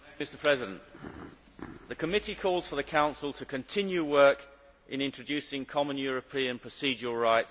The Committee calls for the Council to continue work in introducing common European procedural rights in criminal matters.